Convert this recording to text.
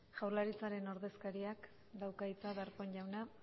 jaurlaritzaren ordezkariak dauka hitza darpón jauna